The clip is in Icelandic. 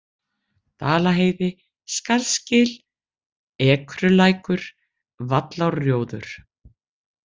Dalaheiði, Skarðsgil, Ekrulækur, Vallárrjóður